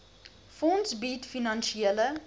fonds bied finansiële